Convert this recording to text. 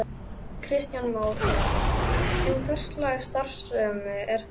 Kristján Már Unnarsson: En hverslags starfsemi er þetta?